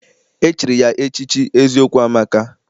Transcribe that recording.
E chiri ya echichi Eziokwu amaka